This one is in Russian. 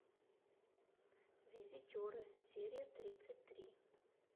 визитеры серия тридцать три